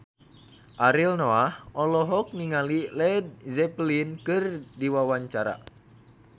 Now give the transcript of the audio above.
Ariel Noah olohok ningali Led Zeppelin keur diwawancara